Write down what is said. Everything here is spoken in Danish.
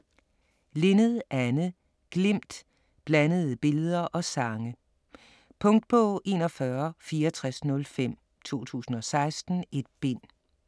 Linnet, Anne: Glimt: blandede billeder og sange Punktbog 416405 2016. 1 bind.